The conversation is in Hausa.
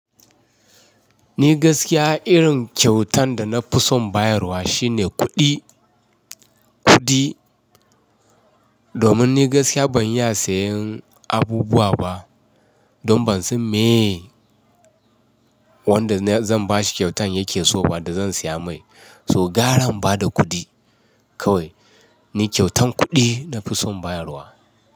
Ni gaskiya irin kyautan da na fi son bayarwa shine kuɗi. Kuɗi. Domin ni gaskiya ban iya sayen abubuwa ba. Don ban san me wanda zan ba shi kyautan yake so ba da zan siya mai. So gara in bada kuɗi kawai ni kyautan kuɗi na fi son bayarwa.